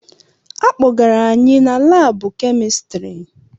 Akpọgara anyị na laabụ kemistiri.